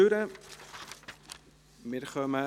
4.4.4 Ausschluss aus Unterkünften